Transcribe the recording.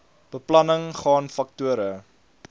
beplanning gaan faktore